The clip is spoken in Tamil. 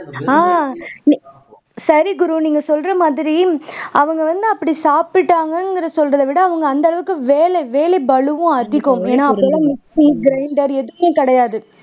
ஆஹ் சரி குரு நீங்க சொல்ற மாதிரி அவங்க வந்து அப்படி சாப்பிட்டாங்கன்னு சொல்றதே விட அவங்க அந்த அளவுக்கு வேலை வேலை பளுவும் அதிகம் ஏன்னா அப்படியே மிக்ஸி grinder எதுவுமே கிடையாது